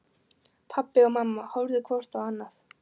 Pabbi og mamma horfðu hvort á annað.